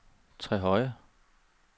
Trehøje